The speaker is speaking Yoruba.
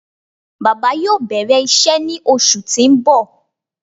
Baba yoo bẹrẹ iṣẹ ni oṣu ti n bọ